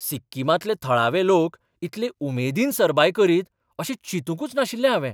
सिक्किमांतले थळावे लोक इतले उमेदीन सरबाय करीत अशें चिंतूंकच नाशिल्लें हावें.